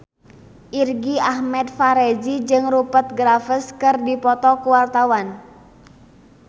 Irgi Ahmad Fahrezi jeung Rupert Graves keur dipoto ku wartawan